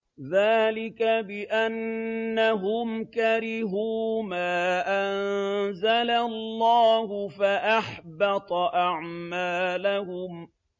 ذَٰلِكَ بِأَنَّهُمْ كَرِهُوا مَا أَنزَلَ اللَّهُ فَأَحْبَطَ أَعْمَالَهُمْ